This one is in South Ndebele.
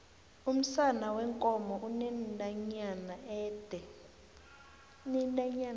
umsana weenkomo unentanyana ede